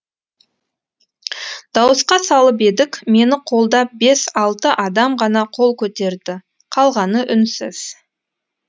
дауысқа салып едік мені қолдап бес алты адам ғана қол көтерді қалғаны үнсіз